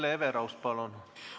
Hele Everaus, palun!